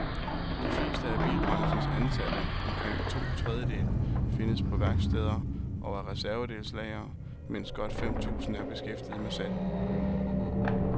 De fleste af bilbranchens ansatte, omkring to trediedele, findes på værksteder og reservedelslagre, mens godt fem tusind er beskæftiget med salg.